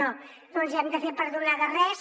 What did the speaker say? no no ens hem de fer perdonar de res